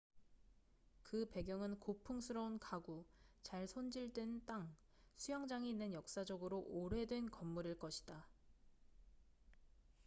그 배경은 고풍스러운 가구 잘 손질된 땅 수영장이 있는 역사적으로 오래된 건물일 것이다